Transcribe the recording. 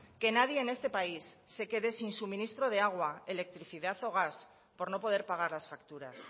que nadie en este país se quede sin suministro de agua electricidad o gas por no poder pagar las facturas